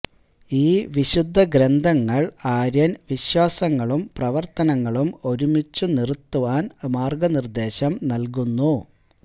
ഈ വിശുദ്ധ ഗ്രന്ഥങ്ങൾ ആര്യൻ വിശ്വാസങ്ങളും പ്രവർത്തനങ്ങളും ഒരുമിച്ചു നിറുത്താൻ മാർഗനിർദേശം നൽകുന്നു